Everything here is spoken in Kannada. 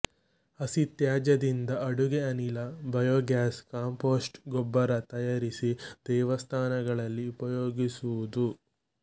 ಹಸಿ ತ್ಯಾಜ್ಯದಿಂದ ಅಡುಗೆ ಅನಿಲ ಬಯೋಗ್ಯಾಸ್ ಕಾಂಪೋಸ್ಟ್ ಗೊಬ್ಬರ ತಯಾರಿಸಿ ದೇವಸ್ಥಾನಗಳಲ್ಲಿ ಉಪಯೋಗಿಸುವುದು